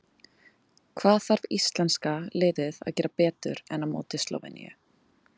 Hvað þarf íslenska liðið að gera betur en á móti Slóveníu?